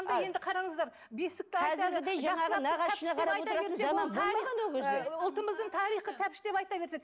енді қараңыздар бесік ұлтымыздың тарихын тәтпіштеп айта берсек